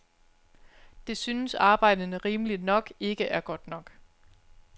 Det synes arbejderne, rimeligt nok, ikke er godt nok.